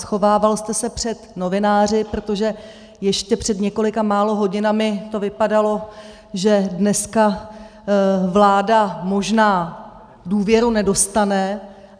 Schovával jste se před novináři, protože ještě před několika málo hodinami to vypadalo, že dneska vláda možná důvěru nedostane.